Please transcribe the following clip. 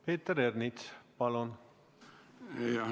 Peeter Ernits, palun!